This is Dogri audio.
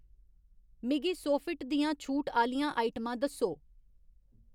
मिगी सोफिट दियां छूट आह्‌लियां आइटमां दस्सो